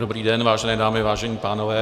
Dobrý den, vážené dámy, vážení pánové.